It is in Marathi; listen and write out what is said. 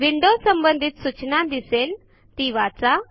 विंडो संबंधित सूचना दिसेलती वाचा